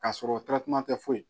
Ka sɔrɔ tɛ foyi